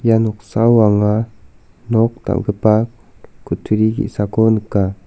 ia noksao anga nok dal·gipa kutturi ge·sako nika.